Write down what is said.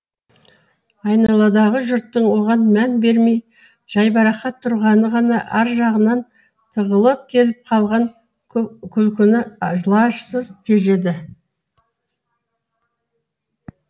айналадағы жұрттың оған мән бермей жайбарақат тұрғаны ғана ар жағынан тығылып келіп қалған күлкіні лажсыз тежеді